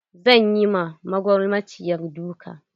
Zan yi ma magulmaciyar duka.